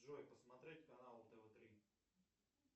джой посмотреть канал тв три